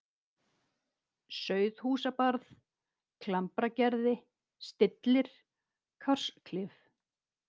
Sauðhúsabarð, Klambragerði, Stillir, Kársklif